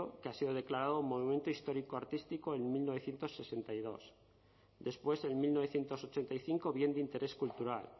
que ha sido declarado monumento histórico artístico en mil novecientos sesenta y dos después en mil novecientos ochenta y cinco bien de interés cultural